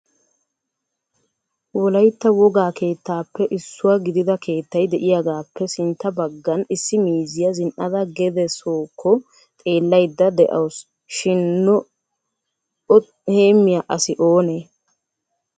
Wolaytta wogaa keettappe issuwaa gidida keettay de'iyaagappe sintta baggan issi miizziya zin"ada gede sookko xeelaydda de'awus shin o heemiyaa asi oonee?